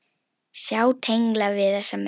Sjá tengla við þessa menn.